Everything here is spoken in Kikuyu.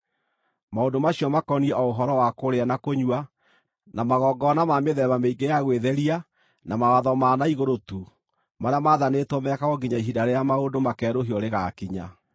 Maũndũ macio makoniĩ o ũhoro wa kũrĩa na kũnyua, na magongona ma mĩthemba mĩingĩ ya gwĩtheria na mawatho ma na igũrũ tu, marĩa maathanĩtwo mekagwo nginya ihinda rĩrĩa maũndũ makeerũhio rĩgaakinya.